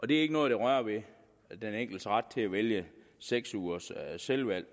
det er ikke noget der rører ved den enkeltes ret til at vælge seks ugers selvvalgt